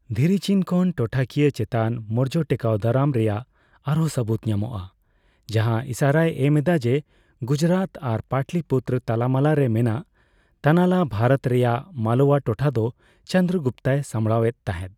ᱫᱷᱤᱨᱤᱪᱤᱱ ᱠᱷᱚᱱ ᱴᱚᱴᱷᱟᱠᱤᱭᱟᱹ ᱪᱮᱛᱟᱱ ᱢᱳᱨᱡᱚ ᱴᱮᱠᱟᱣᱫᱟᱨᱟᱢ ᱨᱮᱭᱟᱜ ᱟᱨᱦᱚᱸ ᱥᱟᱹᱵᱩᱫ ᱧᱟᱢᱚᱜᱼᱟ ᱡᱟᱦᱟᱸ ᱤᱥᱟᱹᱨᱟᱭ ᱮᱢᱮᱫᱟ ᱡᱮ, ᱜᱩᱡᱨᱟᱛ ᱟᱨ ᱯᱟᱴᱟᱞᱤᱯᱩᱛᱨᱚ ᱛᱟᱞᱟᱢᱟᱞᱟ ᱨᱮ ᱢᱮᱱᱟᱜ ᱛᱟᱱᱟᱞᱟ ᱵᱷᱟᱨᱚᱛ ᱨᱮᱭᱟᱜ ᱢᱟᱞᱳᱣᱟ ᱴᱚᱴᱷᱟ ᱫᱚ ᱪᱚᱸᱱᱫᱽᱨᱚᱜᱩᱯᱛᱚᱭ ᱥᱟᱢᱲᱟᱣ ᱮᱫ ᱛᱟᱦᱮᱸᱫ ᱾